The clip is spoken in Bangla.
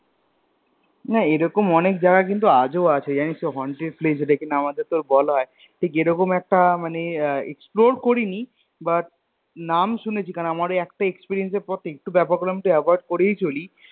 না এরকম অনেক জায়গা কিন্তু আজো আছে জানিস তো Haunted place এটা কিন্তু আমাদের বলা আছে ঠিক এরকম একটা মানে Explore করিনি But নাম শুনেছি কারণ আমরও একটা Experience বেপক হলাম যে Avoid করেই চলি